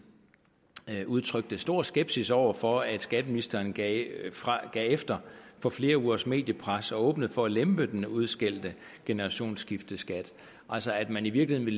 udtrykte stor skepsis over for at skatteministeren gav efter for flere ugers mediepres og åbnede for at lempe den udskældte generationsskifteskat altså at man i virkeligheden